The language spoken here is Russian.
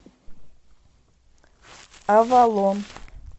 авалон